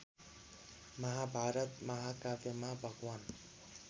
महाभारत महाकाव्यमा भगवान्